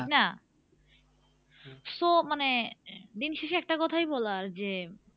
ঠিক না? so মানে দিন শেষে একটা কথায় বলার যে